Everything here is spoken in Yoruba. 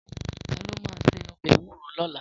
Tàló má sé òbè éwúró lòlá?